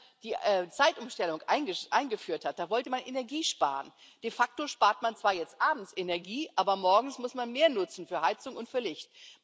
Als man die Zeitumstellung eingeführt hat, wollte man Energie sparen. De facto spart man zwar jetzt abends Energie, aber morgens muss man mehr nutzen für Heizung und für Licht.